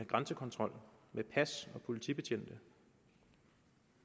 grænsekontrol med pas og politibetjente